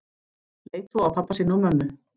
Leit svo á pabba sinn og mömmu.